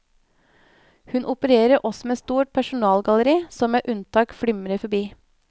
Hun opererer også med et stort persongalleri som med unntak flimrer forbi.